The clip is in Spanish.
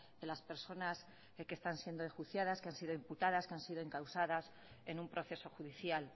de las personas que están siendo enjuiciadas que han sido imputadas que han sido encausadas en un proceso judicial